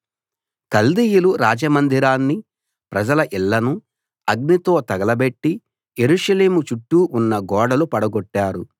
కల్దీయులు రాజమందిరాన్ని ప్రజల ఇళ్ళను అగ్నితో తగలబెట్టి యెరూషలేము చుట్టూ ఉన్న గోడలు పడగొట్టారు